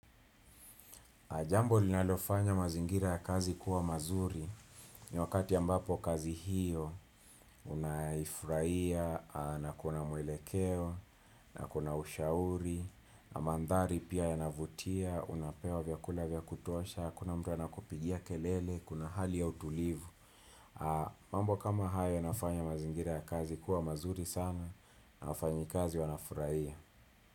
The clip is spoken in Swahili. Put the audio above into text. Jambo linalofanya mazingira ya kazi kuwa mazuri ni wakati ya ambapo kazi hiyo unaifurahia na kuna mwelekeo na kuna ushauri na mandhari pia yanavutia unapewa vyakula vya kutuosha hakuna mtu anakupigia kelele kuna hali ya utulivu. Mambo kama haya yanafanya mazingira ya kazi kuwa mazuri sana na wafanyikazi wanafurahia.